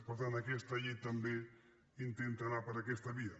per tant aquesta llei també intenta anar per aquesta via